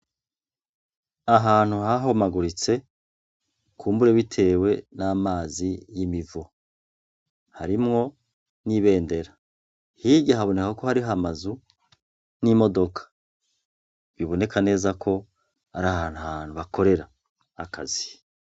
Ahantu hahomaguritse kumbure bitewe n' amazi y imivo , harimwo n' ibendera, hirya habonekaho harih' amazu n' imodoka, biboneka neza k' arahant' abantu bakorer' akazi.